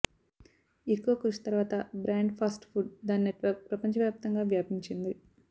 ఎక్కువ కృషి తరువాత బ్రాండ్ ఫాస్ట్ ఫుడ్ దాని నెట్వర్క్ ప్రపంచవ్యాప్తంగా వ్యాపించింది